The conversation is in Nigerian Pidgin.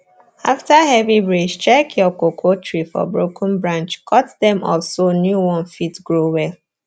after heavy breeze check your cocoa tree for broken branch cut dem off so new one fit grow well